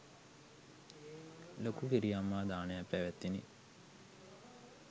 ලොකු කිරිඅම්මා දානයක්‌ පැවැත්විණි.